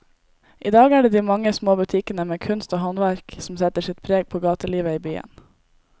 I dag er det de mange små butikkene med kunst og håndverk som setter sitt preg på gatelivet i byen.